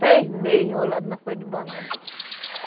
três meses enrolada na folha de banana.